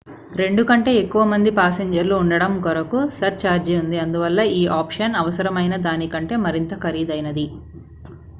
2 కంటే ఎక్కువ మంది ప్యాసింజర్ లు ఉండటం కొరకు సర్ ఛార్జీ ఉంది అందువల్ల ఈ ఆప్షన్ అవసరమైన దానికంటే మరింత ఖరీదైనది